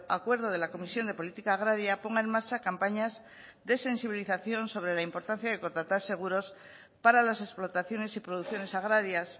acuerdo de la comisión de política agraria ponga en marcha campañas de sensibilización sobre la importancia de contratar seguros para las explotaciones y producciones agrarias